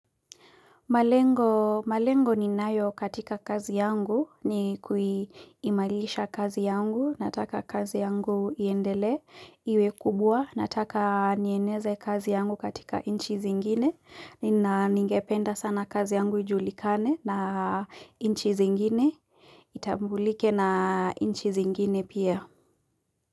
Malengo ninayo katika kazi yangu ni kuiimalisha kazi yangu nataka kazi yangu iendelee iwe kubwa nataka nieneze kazi yangu katika inchi zingine na ningependa sana kazi yangu ijulikane na inchi zingine itambulike na inchi zingine pia.